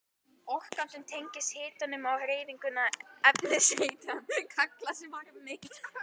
Orkan sem tengist hitanum og hreyfingu efniseindanna kallast varmi.